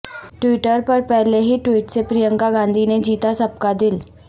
Twitter پر پہلے ہی ٹوئٹ سے پرینکا گاندھی نے جیتا سب کا دل